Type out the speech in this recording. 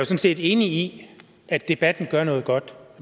set enig i at debatten gør noget godt